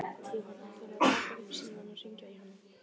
Jóhann: Ætlarðu að taka upp símann og hringja í hana?